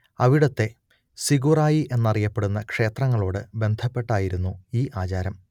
അവിടത്തെ സിഗുറായി എന്നറിയപ്പെടുന്ന ക്ഷേത്രങ്ങളോട് ബന്ധപ്പെട്ടായിരുന്നു ഈ ആചാരം